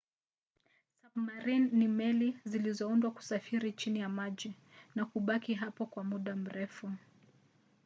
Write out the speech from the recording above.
sabmarini ni meli zilizoundwa kusafiri chini ya maji na kubaki hapo kwa muda mrefu